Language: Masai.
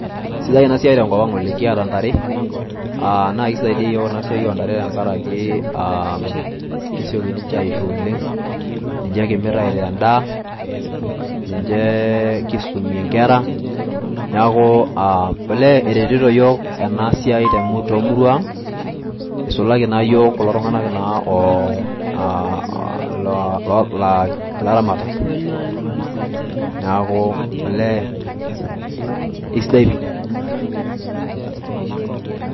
Sidai ena siai tenkopang oleng . kiata ntare , aa naa kisaidia yiook ina siai ontare aa kesioki niche aisho oleng. niche kimir aitaa endaa , niche kisumie inkera . niaku olee eretito yiok ena siai tomurua ang ,isulaki naa yiok kulo tunganak aa laa laaramatak . niaku olee isidai pi.